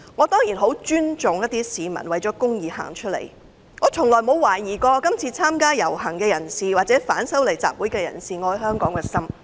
當然，我很尊重一些市民為了公義走出來，我從來沒有懷疑今次參加遊行或反修例集會的人愛香港的心。